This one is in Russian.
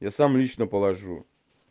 я сам лично положу